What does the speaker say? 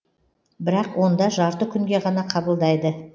бірақ онда жарты күнге ғана қабылдайды